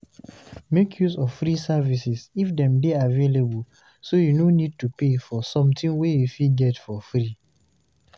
Make use of free services if them dey available so you no need to pay for something wey you fit get for free